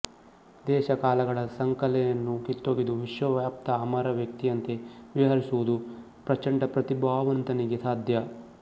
ದೇಶಕಾಲಗಳ ಸಂಕಲೆಯನ್ನು ಕಿತ್ತೊಗೆದು ವಿಶ್ವವ್ಯಾಪ್ತ ಅಮರ ವ್ಯಕ್ತಿಯಂತೆ ವಿಹರಿಸುವುದು ಪ್ರಚಂಡಪ್ರತಿಭಾವಂತನಿಗೆ ಸಾಧ್ಯ